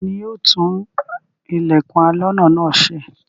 Ta ni yóò tún ilẹ̀kùn aloná náà ṣe?